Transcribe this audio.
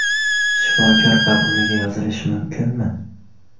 Shifokor qabuliga yozilish mumkinmi?